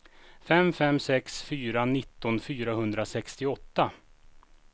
fem fem sex fyra nitton fyrahundrasextioåtta